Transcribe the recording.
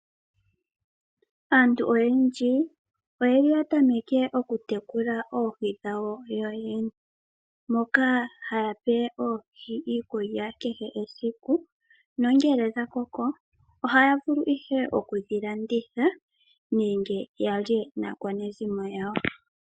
Aantu oyendji oyeli yatameke okutekula oohi dhawo yoyene moka haya pe oohi iikulya kehe esiku. Nongele odha koko ohaya vulu ihe okudhilanditha nenge yalye naakwanezimo yawo.